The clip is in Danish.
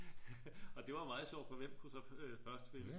Og det var meget sjovt for hvem kunne så først finde den